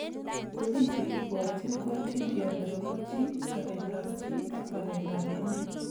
Tukuun che kibwatyin ko atindiot nebo kapchii, sabet ab chii ak waleet ab emet